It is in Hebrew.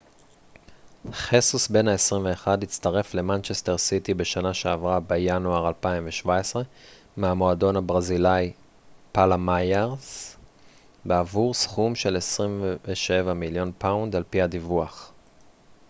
חסוס בן ה 21 הצטרף למנצ'סטר סיטי בשנה שעברה בינואר 2017 מהמועדון הברזילאי פאלמייראס בעבור סכום של 27 מיליון פאונד על פי הדיווח